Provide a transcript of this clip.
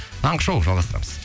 таңғы шоу жалғастырамыз